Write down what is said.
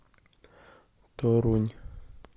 торунь